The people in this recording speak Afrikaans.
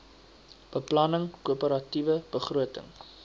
beplanning koöperatiewe begroting